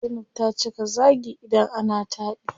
Zainab ta cika zaagi idan ana taɗi.